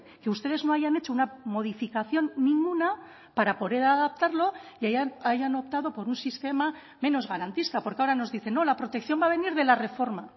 que ustedes no hayan hecho una modificación ninguna para poder adaptarlo y hayan optado por un sistema menos garantista porque ahora nos dicen no la protección va a venir de la reforma